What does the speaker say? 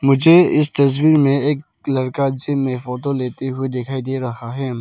मुझे इस तस्वीर में एक लड़का जिम में फोटो लेते हुए दिखाई दे रहा है।